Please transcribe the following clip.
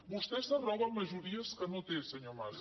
vostè s’arroga majories que no té senyor mas